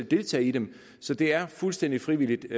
deltage i dem så det er fuldstændig frivilligt